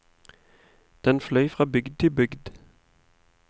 Den fløy fra bygd til bygd.